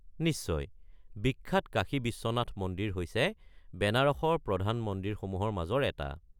নিশ্চয়। বিখ্যাত কাশী বিশ্বনাথ মন্দিৰ হৈছে বেনাৰসৰ প্ৰধান মন্দিৰসমূহৰ মাজৰ এটা।